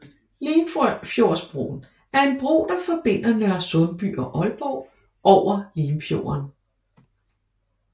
Limfjordsbroen er en bro der forbinder Nørresundby og Aalborg over Limfjorden